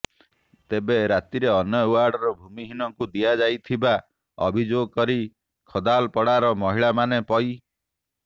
ତେବେ ରାତିରେ ଅନ୍ୟ ୱାର୍ଡର ଭୂମିହୀନଙ୍କୁ ଦିଆଯାଇଥିବା ଅଭିଯୋଗ କରି ଖଦାଲପଡାର ମହିଳାମାନେ ପୈ